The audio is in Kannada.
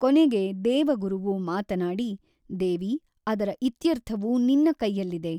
ಕೊನೆಗೆ ದೇವಗುರುವು ಮಾತನಾಡಿ ದೇವಿ ಅದರ ಇತ್ಯರ್ಥವು ನಿನ್ನ ಕೈಯ್ಯಲ್ಲಿದೆ.